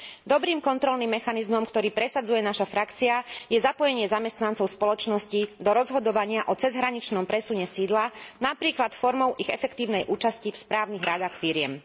Dobrým kontrolným mechanizmom, ktorý presadzuje naša frakcia, je zapojenie zamestnancov spoločností do rozhodovania o cezhraničnom presune sídla, napríklad formou ich efektívnej účasti v správnych radách firiem.